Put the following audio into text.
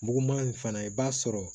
Muguman in fana i b'a sɔrɔ